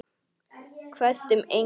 Kvöddum engan.